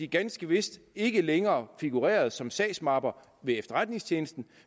ganske vist ikke længere figurerede som sagsmapper ved efterretningstjenesten